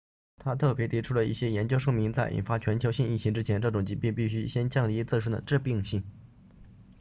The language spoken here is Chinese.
他特别提到一些研究表明在引发全球性疫情之前这种疾病必须先降低自身的致命性